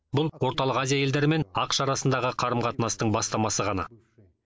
бұл орталық азия елдері мен ақш арасындағы қарым қатынастың бастамасы ғана